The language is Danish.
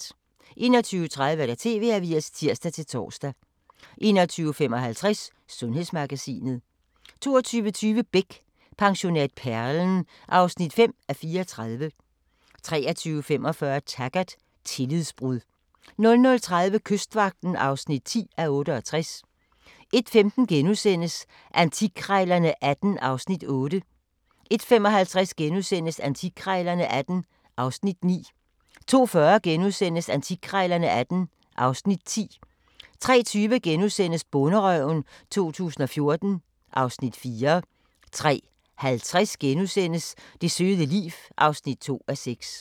21:30: TV-avisen (tir-tor) 21:55: Sundhedsmagasinet 22:20: Beck: Pensionat Perlen (5:34) 23:45: Taggart: Tillidsbrud 00:30: Kystvagten (10:68) 01:15: Antikkrejlerne XVIII (Afs. 8)* 01:55: Antikkrejlerne XVIII (Afs. 9)* 02:40: Antikkrejlerne XVIII (Afs. 10)* 03:20: Bonderøven 2014 (Afs. 4)* 03:50: Det søde liv (2:6)*